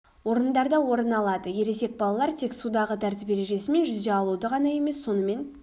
орындарда орын алады ересек балалар тек судағы тәртіп ережесі мен жүзе алуды ғана емес сонымен